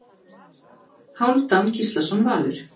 Hálfdán Gíslason Valur